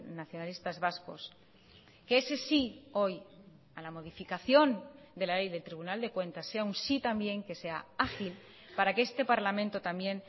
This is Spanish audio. nacionalistas vascos que ese sí hoy a la modificación de la ley del tribunal de cuentas sea un sí también que sea ágil para que este parlamento también